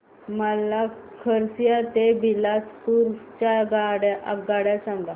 मला खरसिया ते बिलासपुर च्या आगगाड्या सांगा